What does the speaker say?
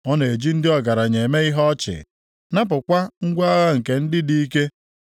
Ọ na-eji ndị ọgaranya eme ihe ọchị, napụkwa ngwa agha nke ndị dị ike.